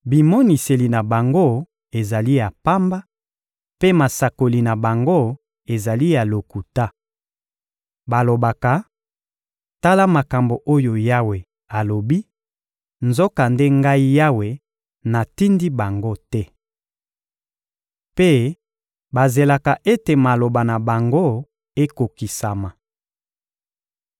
Bimoniseli na bango ezali ya pamba, mpe masakoli na bango ezali ya lokuta. Balobaka: ‘Tala makambo oyo Yawe alobi,’ nzokande Ngai Yawe, natindi bango te. Mpe bazelaka ete maloba na bango ekokisama!